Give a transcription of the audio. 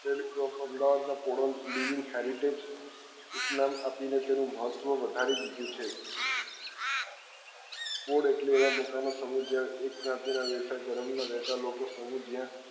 of Ahmedabad માં ઓડલ ડીવીસ heritage ઉપનામ આપી ને તેનું મહત્વ વધારી દીધું છે ઓડ એટલે એવા મકાનો સમિત જ્યાં એક જાતી ના વ્યવસાય ધર્મ ના વેપાર લોકો સમિત જ્યાં